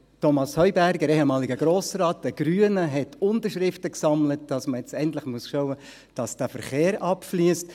Thomas Heuberger, ehemaliger Grossrat der Grünen, hat Unterschriften gesammelt, dass man jetzt endlich sicherstellen muss, dass der Verkehr abfliesst.